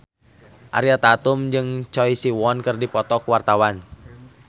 Ariel Tatum jeung Choi Siwon keur dipoto ku wartawan